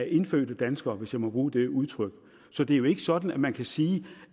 indfødte danskere hvis jeg må bruge det udtryk så det er jo ikke sådan at man kan sige